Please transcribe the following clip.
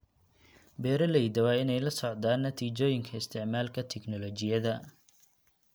Beeralayda waa inay la socdaan natiijooyinka isticmaalka tignoolajiyada.